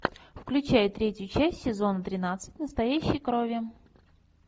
включай третью часть сезона тринадцать настоящей крови